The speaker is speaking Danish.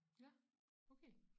Ja okay